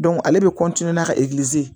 ale de bɛ ka